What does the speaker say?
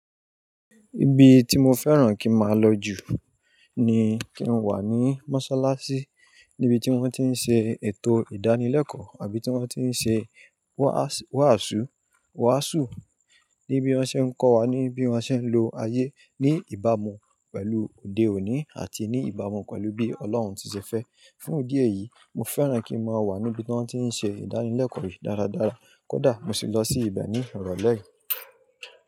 Ibi tí mo fẹ́ràn kí n máa lọ jù ni kí n wà ní mọ́ṣáláṣí, níbi tí wọ́n ti ń ṣe ètò ìdánilẹ́kọ̀ọ́ àbí tí wọ́n ti ń ṣe wàásù, níbi tí wọ́n ṣé ń kọ́ wa ní bí wọ́n ṣé ń lo ayé ní ìbámu pẹ̀lú òde òní àti ní ìbámu pẹ̀lú bí Ọlọ́run ṣe fẹ́. Fún idí èyí, mo fẹ́ràn kí n máa wà níbi tí wọ́n ti ń ṣe ìdánilẹ́kọ̀ọ́ yìí dáradára. Kódà mo sì lọ sí ibẹ̀ ní ìrọ̀lẹ́ yìí.